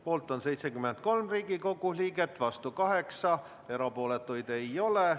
Poolt on 73 Riigikogu liiget ja vastu 8, erapooletuid ei ole.